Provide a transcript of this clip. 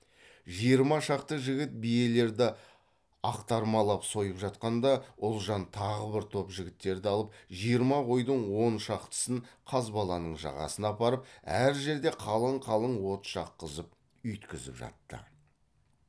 жиырма шақты жігіт биелерді ақтармалап сойып жатқанда ұлжан тағы бір топ жігіттерді алып жиырма қойдың он шақтысын қазбаланың жағасына апарып әр жерде қалың қалың от жаққызып үйіткізіп жатты